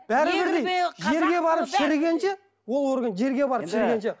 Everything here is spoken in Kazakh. бәрі бірдей жерге барып шірігенше ол орган жерге барып шірігенше